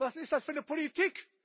Was ist das für eine Politik?